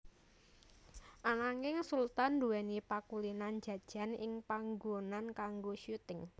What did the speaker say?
Ananging Sultan nduwèni pakulinan jajan ing panggonan kanggo syuting